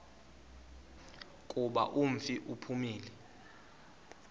kuba umfi uphumile